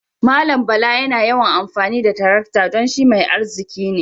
Mallam Bala yana yawan amfani da tarakta dan shi mutam mai arziki ne.